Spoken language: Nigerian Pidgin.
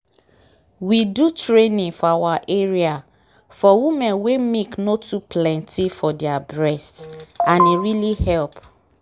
we do training for our area for women wen milk nor too plenty for their breast and e really help.